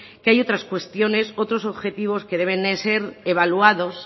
que hay otras cuestiones otros objetivos que deben de ser evaluados